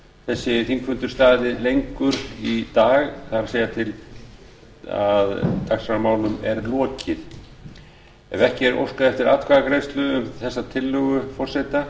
þessi þingfundur staðið lengur í dag það er þar til dagskrármálum er lokið ef ekki er óskað eftir atkvæðagreiðslu um þessa tillögu forseta